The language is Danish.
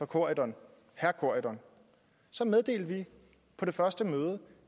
corydon meddelte vi på det første møde